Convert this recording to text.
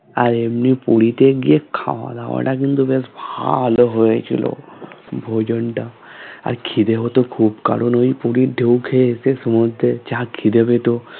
আর এমনি পুরীতে গিয়ে খাওয়া-দাওয়া টা কিন্তু বেশ ভালো হয়েছিল ভোজনটা আর খিদে হতো খুব কারণ ওই পুরীর ঢেউ খেয়ে এসে সমুদ্রের যা খিদে পেতো